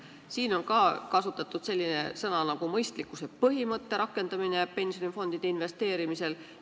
Siin on kasutatud ka sellist väljendit nagu "mõistlikkuse põhimõtte rakendamine investeerimisel".